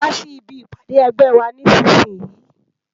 Wá si ibi ipàdé ègbè wà nìsísìyín